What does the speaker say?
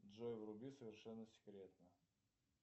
джой вруби совершенно секретно